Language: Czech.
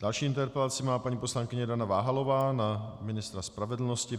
Další interpelaci má paní poslankyně Dana Váhalová na ministra spravedlnosti.